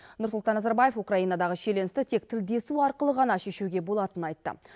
нұрсұлтан назарбаев украинадағы шиеленісті тек тілдесу арқылы ғана шешуге болатынын айтты